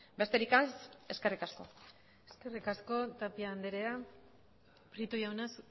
besterik ez eskerrik asko eskerrik asko tapia anderea prieto jauna